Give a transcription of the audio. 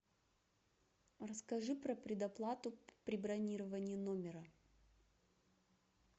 расскажи про предоплату при бронировании номера